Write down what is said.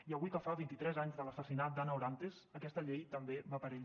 i avui que fa vint i tres anys de l’assassinat d’ana orantes aquesta llei també va per ella